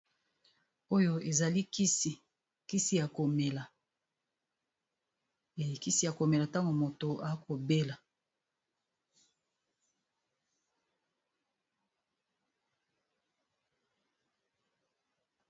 oyo ezalikisi kisiya komela elikisi a komela ntango moto akobela